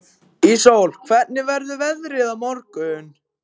Íssól, hvernig verður veðrið á morgun?